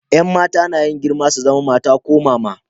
Yan mata na yin girma su zama mata ko mama.